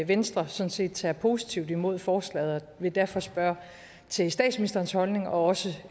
venstre sådan set tager positivt imod forslaget og vil derfor spørge til statsministerens holdning og også